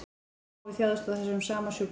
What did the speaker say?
Páfi þjáðist af þessum sama sjúkdómi